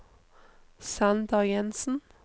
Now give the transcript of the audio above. Sander Jenssen